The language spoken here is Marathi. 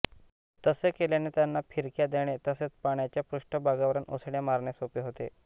तसे केल्याने त्यांना फिरक्या देणे तसेच पाण्याच्या पृष्ठभागावरुन उसळ्या मारणे सोपे होते